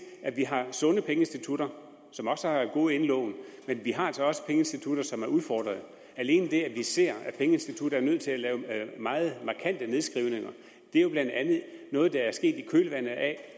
at vi har sunde pengeinstitutter som også har gode indlån men vi har altså også pengeinstitutter som er udfordret vi ser at pengeinstitutter er nødt til at lave meget markante nedskrivninger og det er jo blandt andet noget der er sket i kølvandet af